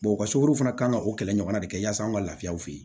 o ka sukaro fana kan ka o kɛlɛ ɲɔgɔnna de kɛ yaa an ka laafiyaw fɛ yen